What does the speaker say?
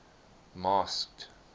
masked